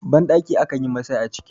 bandaki a kan yi Masai a ciki